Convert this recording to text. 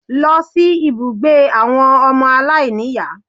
Lọ sí ibùgbé àwọn ọmọ aláìníìyá